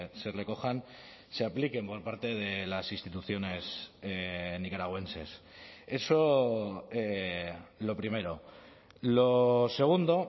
se recojan se apliquen por parte de las instituciones nicaragüenses eso lo primero lo segundo